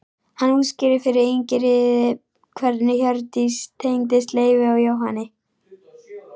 Hann útskýrði fyrir Ingiríði hvernig Hjördís tengdist Leifi og Jóhanni.